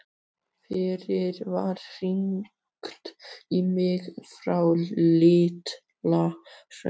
Fyrst var hringt í mig frá Litla-Hrauni.